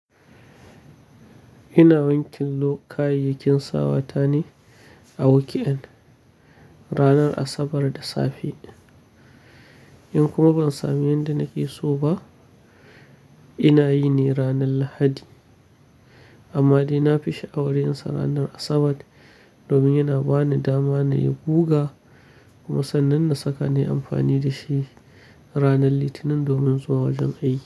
Ina wanke lo kayayyakin sawata ne a weekend ranar Asabar da safe. In kuma ban samu yanda nake so ba, ina yi ne ranar Lahadi. Amma dai na fi sha'awar yinsa ranar Asabar domin yana ba ni dama na yi guga kuma sannan na saka ne amfani da shi ranar Litinin domin zuwa wajen aiki.